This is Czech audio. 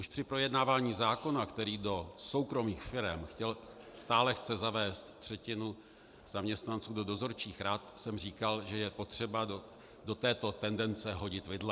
Už při projednávání zákona, který do soukromých firem stále chce zavést třetinu zaměstnanců do dozorčích rad, jsem říkal, že je potřeba do této tendence hodit vidle.